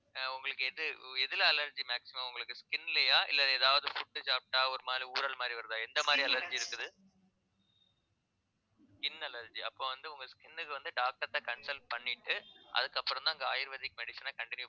ஆஹ் உங்களுக்கு எது எதுல allergy maximum உங்களுக்கு skin லயா இல்ல ஏதாவது food சாப்பிட்டா ஒரு மாதிரி ஊறல் மாதிரி வருதா எந்த மாதிரி allergy இருக்குது skin allergy அப்ப வந்து உங்க skin க்கு வந்து doctor ட்ட consult பண்ணிட்டு அதுக்கப்புறம்தான் அங்க ayurvedic medicine அ continue